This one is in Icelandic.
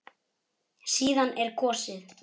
Síðan er kosið.